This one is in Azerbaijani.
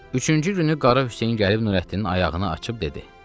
Üçüncü günü Qara Hüseyn gəlib Nurəddinin ayağını açıb dedi: